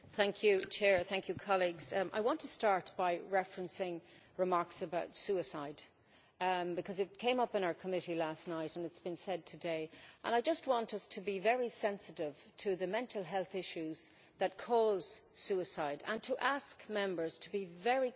Madam President, I want to start by referencing remarks about suicide, because it came up in our committee last night and it has been said today and I just want us to be very sensitive to the mental health issues that cause suicide and to ask Members to be very careful of the language